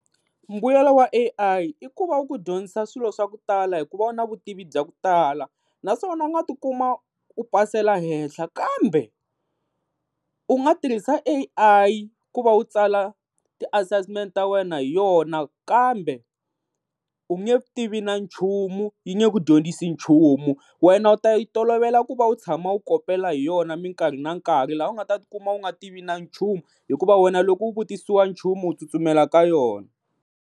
Mbuyelo wa A_I i ku va wu ku dyondzisa swilo swa ku tala hikuva wu na vutivi bya ku tala naswona u nga tikuma u pasela hehla kambe u nga tirhisa A_I ku va u tsala ti-assessment ta wena hi yona kambe u nge tivi na nchumu yi nge ku dyondzisi nchumu wena u ta yi tolovela ku va u tshama u kopela hi yona minkarhi na nkarhi laha u nga ta ti kuma u nga tivi na nchumu hikuva wena loko u vutisisa nchumu u tsutsumela ka yona.